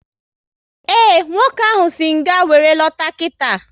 Ee, nwoke ahụ si nga wéré lọta kita